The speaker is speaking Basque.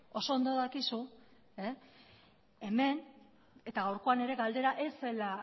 oso ondo dakizu hemen eta gaurkoan ere galdera ez zela